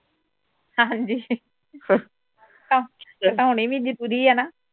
ਹਾਂ ਜੀ ਹੋਣੀ ਵੀ ਜਰੂਰੀ ਹੈ ਨਾ